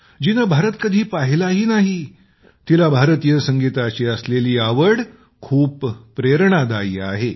जिने भारत कधी पाहिलाही नाही तिला भारतीय संगीताची असलेली आवड खूप प्रेरणादायी आहे